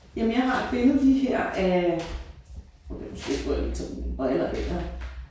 Jamen jeg har et billede lige her af måske skulle jeg lige tage mine briller af her